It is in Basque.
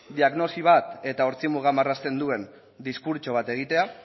diagnosi bat eta ortzi muga marrazten duen diskurtso bat egitea